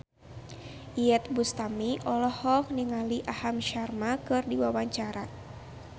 Iyeth Bustami olohok ningali Aham Sharma keur diwawancara